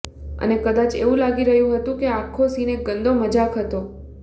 એને કદાચ એવું લાગી રહ્યું હતું આ આખો સીન એક ગંદી મજાક હતો